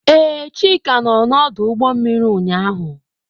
Ee, Chika nọ n'ọdụ ụgbọ mmiri ụnyaahụ.